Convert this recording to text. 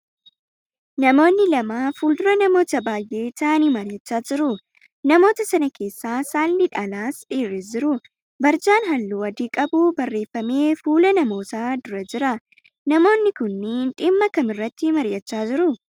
Namoonni lama fuldura namoota baayyee ta'aanii mari'achiisaa jiru. Namoota sana keessa saalli dhalaas dhiirris jiru. Barjaan halluu adii qabu barreeffamee fuula namootaa dura jira. Namoonni kunniin dhimma kam irratti mari'achaa jiru?